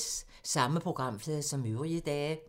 Samme programflade som øvrige dage